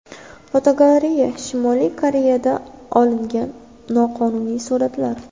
Fotogalereya: Shimoliy Koreyada olingan noqonuniy suratlar.